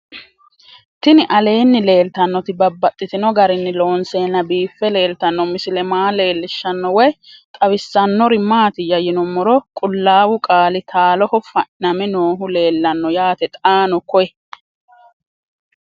Tinni aleenni leelittannotti babaxxittinno garinni loonseenna biiffe leelittanno misile maa leelishshanno woy xawisannori maattiya yinummoro qulaawu qaali taalloho fa'namme noohu leelanno yaatte xaanno koye